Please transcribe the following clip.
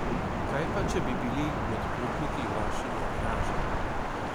Kaj pa, če bi bili med potniki vaši najdražji?